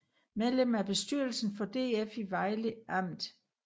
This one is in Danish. Medlem af bestyrelsen for DF i Vejle Amt